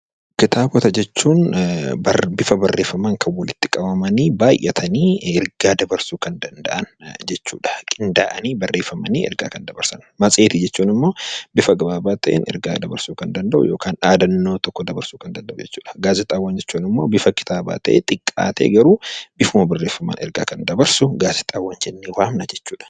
Kitaabota jechuun bifa barreeffamaan kan walitti qabamanii baay'atanii ergaa dabarsuu kan danda'an jechuudha. Matseetii jechuun immoo bifa gabaabaa ta'een ergaa dabarsuu danda'u yookaan dhaadannoo tokko dabarsuu kan danda'u jechuudha. Gaazexaawwan jechuun immoo bifa kitaabaa ta'ee xiqqaatee garuu bifuma barreeffamaan ergaa kan dabarsu gaazexaawwan jennee waamna jechuudha.